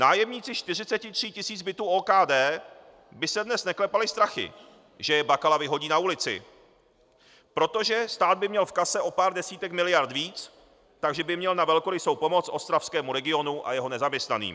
Nájemníci 43 tisíc bytů OKD by se dnes neklepali strachy, že je Bakala vyhodí na ulici, protože stát by měl v kase o pár desítek miliard víc, takže by měl na velkorysou pomoc ostravskému regionu a jeho nezaměstnaným.